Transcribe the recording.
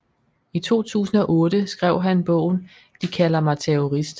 I 2008 skrev han bogen De kalder mig terrorist